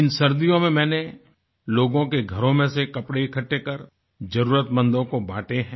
इन सर्दियों में मैंने लोगो के घरों में से कपड़े इकट्ठे कर जरुरतमंदो को बाँटे है